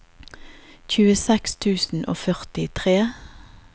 tjueseks tusen og førtitre